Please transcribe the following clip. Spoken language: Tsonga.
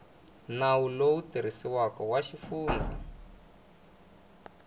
nawu lowu tirhisiwaka wa xifundza